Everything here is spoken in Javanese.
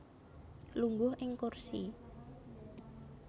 Lungguh ing kursi